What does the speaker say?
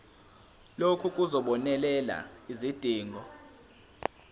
lokhu kuzobonelela izidingo